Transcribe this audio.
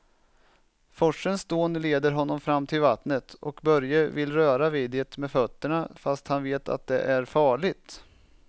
Forsens dån leder honom fram till vattnet och Börje vill röra vid det med fötterna, fast han vet att det är farligt.